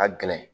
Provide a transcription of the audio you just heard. Ka gɛlɛn